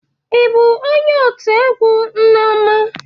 Ị bụ onye otu egwu nneoma?